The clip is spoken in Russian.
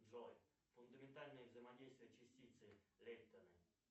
джой фундаментальные взаимодействия частицы лейтона